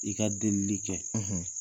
I ka delili kɛ, .